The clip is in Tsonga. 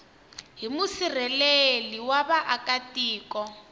hi musirheleli wa vaaka tiko